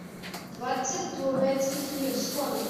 двадцать турецких лир сколько